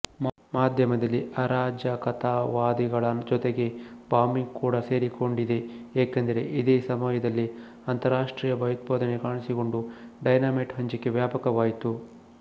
ಮಾಧ್ಯಮದಲ್ಲಿ ಅರಾಜಕತಾವಾದಿಗಳ ಜೊತೆಗೆ ಬಾಂಬಿಂಗ್ ಕೂಡ ಸೇರಿಕೊಂಡಿದೆ ಏಕೆಂದರೆ ಇದೇ ಸಮಯದಲ್ಲಿ ಅಂತರಾಷ್ಟ್ರೀಯ ಭಯೋತ್ಪಾದನೆ ಕಾಣಿಸಿಕೊಂಡು ಡೈನಾಮೈಟ್ ಹಂಚಿಕೆ ವ್ಯಾಪಕವಾಯಿತು